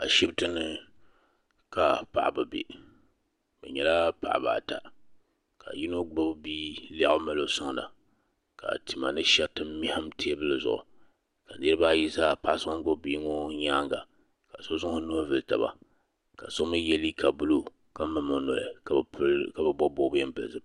Ashibiti ni ka paɣaba bɛ bi nyɛla paɣaba ata ka yino gbibi bi lɛɣu n mali o suaŋda ka tima ni shɛriti mɛhim tɛɛbuli zuɣu ka niriba ayi pahi suaŋ n gbubi bia ŋɔ yɛanga ka so zaŋ o nuhi vuli taba ka so mi ye liiga buluu ka mim o noli ka bi bɔbi bɔbiga bɛɛ n pili zupiligu.